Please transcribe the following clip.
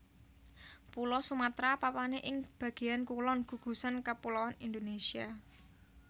Pulo Sumatra papané ing bagéan kulon gugusan kapuloan Indonésia